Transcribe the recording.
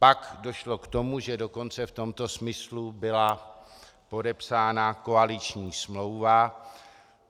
Pak došlo k tomu, že dokonce v tomto smyslu byla podepsána koaliční smlouva.